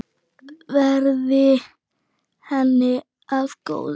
Verði henni að góðu.